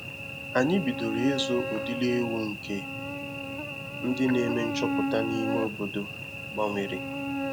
Anyị bidoro ịzụ udiri ewu nke ndị na-eme nchọpụta na ime obodo gbanwere